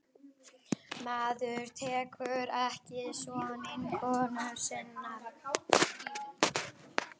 Maður tekur ekki son vinkonu sinnar.